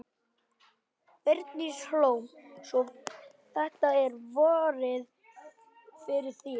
Bryndís Hólm: Svo þetta er vorið fyrir þér?